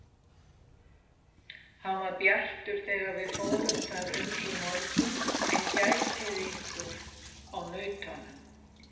Hann var bjartur þegar við fórum þar um í morgun en gætið ykkur á nautunum.